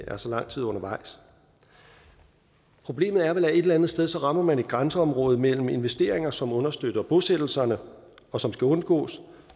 er så lang tid undervejs problemet er vel at et eller andet sted rammer man et grænseområde mellem investeringer som understøtter bosættelserne og som skal undgås